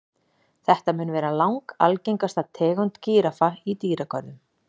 Þetta mun vera langalgengasta tegund gíraffa í dýragörðum.